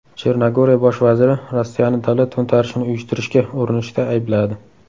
Chernogoriya bosh vaziri Rossiyani davlat to‘ntarishini uyushtirishga urinishda aybladi.